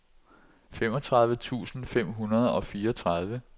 femogtredive tusind fem hundrede og fireogtredive